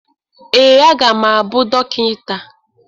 ee, a ga m abụ dọkịta